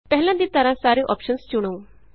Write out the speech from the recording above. ਪਹਿਲਾਂ ਦੀ ਤਰ੍ਹਾਂ ਸਾਰੇ ਅੋਪਸ਼ਨ ਚੁਣੋ